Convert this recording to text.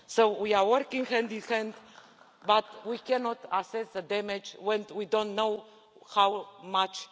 We are working hand in hand, but we cannot assess the damage when we don't know how much.